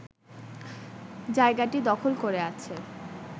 জায়গাটি দখল করে আছে